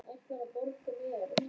Hann var orðinn svo þyrstur aftur.